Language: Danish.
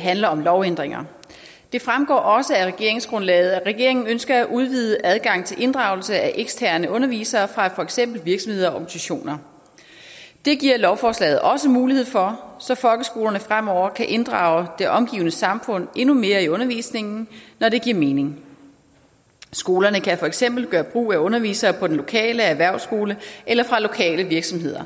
handler om lovændringer det fremgår også af regeringsgrundlaget at regeringen ønsker at udvide adgangen til inddragelse af eksterne undervisere fra for eksempel virksomheder og organisationer det giver lovforslaget også mulighed for så folkeskolerne fremover kan inddrage det omgivende samfund endnu mere i undervisningen når det giver mening skolerne kan for eksempel gøre brug af undervisere på den lokale erhvervsskole eller fra lokale virksomheder